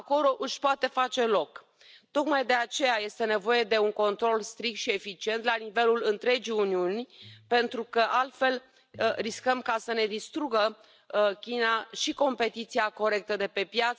Acolo își poate face loc. Tocmai de aceea este nevoie de un control strict și eficient la nivelul întregii Uniuni, pentru că, altfel, riscăm să ne distrugă China și competiția corectă de pe piață, și democrația.